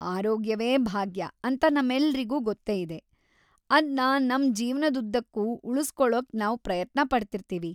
ಆರೋಗ್ಯವೇ ಭಾಗ್ಯ ಅಂತ ನಮ್ಮೆಲ್ರಿಗೂ ಗೊತ್ತೇ ಇದೆ. ಅದ್ನ ನಮ್ ಜೀವನ್ದುದ್ದಕ್ಕೂ ಉಳ್ಸ್‌ಕೊಳೋಕೆ ನಾವ್‌ ಪ್ರಯತ್ನಪಡ್ತಿರ್ತೀವಿ.